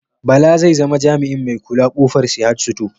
Bala zai zama jamiin mai kula kofar Sahad sito